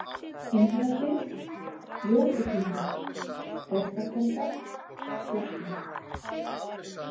Innrahlið, Jókutindur, Borgarkelda, Slakki